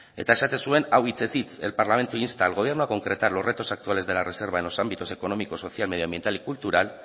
eta esaten zuen hau hitzez hitz el parlamento insta al gobierno a concretar los retos actuales de la reserva en los ámbitos económicos social y medio ambiental y cultural